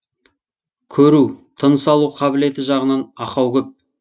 көру тыныс алу қабілеті жағынан ақау көп